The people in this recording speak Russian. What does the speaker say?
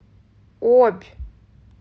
обь